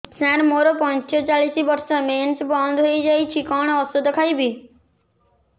ସାର ମୋର ପଞ୍ଚଚାଳିଶି ବର୍ଷ ମେନ୍ସେସ ବନ୍ଦ ହେଇଯାଇଛି କଣ ଓଷଦ ଖାଇବି